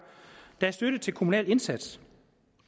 der er støtte til kommunal indsats